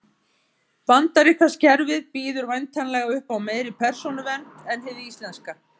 Bandaríska kerfið býður væntanlega upp á meiri persónuvernd en hið íslenska.